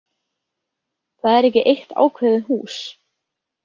Það er ekki eitt ákveðið hús